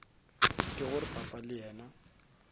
ke gore papa le yena